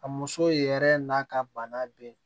A muso yɛrɛ n'a ka bana bɛ yen